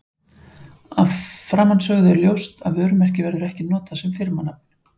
Af framansögðu er ljóst að vörumerki verður ekki notað sem firmanafn.